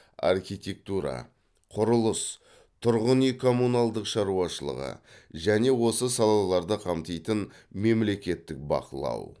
архитектура құрылыс тұрғын үй коммуналдық шаруашылығы және осы салаларды қамтитын мемлекеттік бақылау